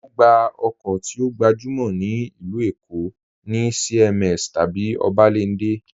Ogbá okó ti o gbajúmọ̀ ní ilú Èkó̀ ni CMS tabí Obalende.